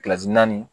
naani